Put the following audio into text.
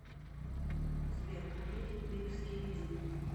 сбер литл биг скибиди